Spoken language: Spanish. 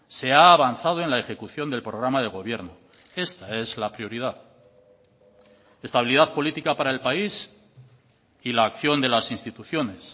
se ha avanzado en la ejecución del programa de gobierno esta es la prioridad estabilidad política para el país y la acción de las instituciones